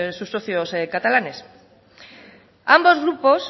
sus socios catalanes ambos grupos